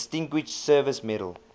distinguished service medal